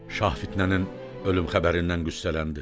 Şah fitnənin ölüm xəbərindən qüssələndi.